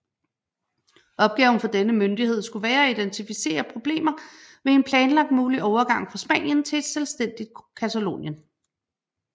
Opgaven for denne myndighed skulle være at identificere problemer ved en planlagt mulig overgang fra Spanien til et selvstændigt Catalonien